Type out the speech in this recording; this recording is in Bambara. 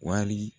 Wali